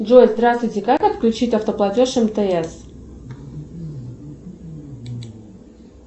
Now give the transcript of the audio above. джой здравствуйте как отключить автоплатеж мтс